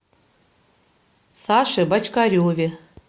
саше бочкареве